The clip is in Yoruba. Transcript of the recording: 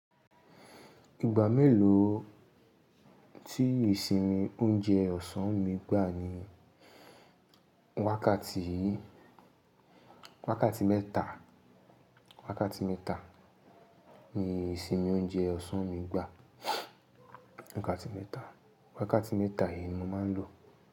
Ìgbà mélòó tí ìsinmi oúnjẹ ọ̀sán mi gbà ni wákàtí mẹ́ta, wákàtí mẹ́ta ni ìsinmi oúnjẹ ọ̀sán mi gbà. Wákàtí mẹ́ta, wákàtí mẹ́ta ni mo máa ń lò.